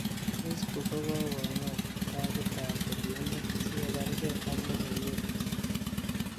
facebook ko gogong'et tagit ab kergeindo si kobargee ak logoiwek ghusi